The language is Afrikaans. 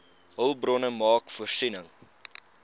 hulpbronne maak voorsiening